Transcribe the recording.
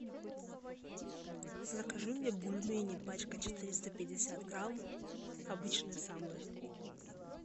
закажи мне бульмени пачка четыреста пятьдесят грамм обычные самые